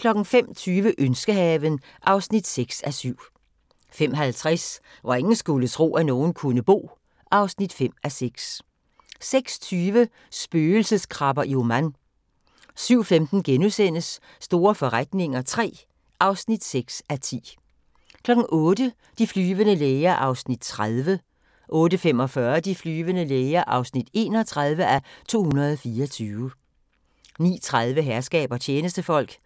05:20: Ønskehaven (6:7) 05:50: Hvor ingen skulle tro, at nogen kunne bo (5:6) 06:20: Spøgelseskrabber i Oman 07:15: Store forretninger III (6:10)* 08:00: De flyvende læger (30:224) 08:45: De flyvende læger (31:224) 09:30: Herskab og tjenestefolk (64:68)